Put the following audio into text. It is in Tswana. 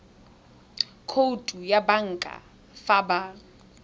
khoutu ya banka fa ba